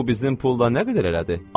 Bu bizim pulla nə qədər elədi?